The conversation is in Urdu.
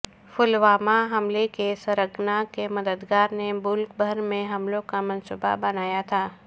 پلوامہ حملہ کے سرغنہ کے مددگار نے ملک بھر میں حملوں کا منصوبہ بنایا تھا